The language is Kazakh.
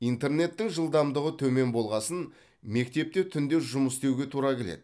интернеттің жылдамдығы төмен болғасын мектепте түнде жұмыс істеуге тура келеді